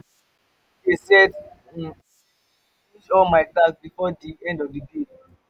um me dey set um in ten tion to finish all my tasks before di end of di day.